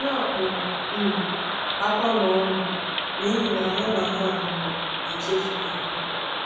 Ha kpuo um ákwá n’ọṅụ, n’ihi na ha na ha hụrụ na a chefughị ha!